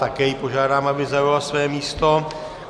Také ji požádám, aby zaujala své místo.